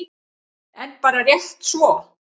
En bara rétt svo.